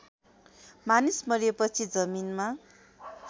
मानिस मरेपछि जमिनमा